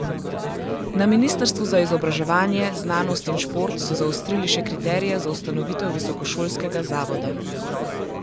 Na ministrstvu za izobraževanje, znanost in šport so zaostrili še kriterije za ustanovitev visokošolskega zavoda.